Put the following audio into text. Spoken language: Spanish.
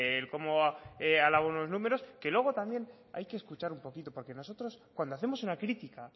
el cómo alabó unos números que luego también hay que escuchar un poquito porque nosotros cuando hacemos una crítica